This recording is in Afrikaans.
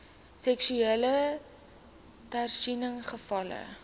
seksuele teistering gevalle